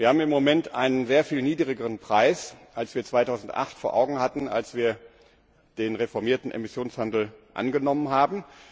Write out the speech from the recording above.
Wir haben im Moment einen sehr viel niedrigeren Preis, als wir ihn 2008 vor Augen hatten, als wir den reformierten Emissionshandel angenommen haben.